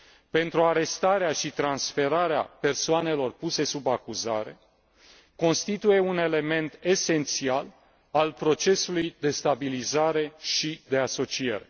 pentru arestarea și transferarea persoanelor puse sub acuzare, constituie un element esențial al procesului de stabilizare și de asociere.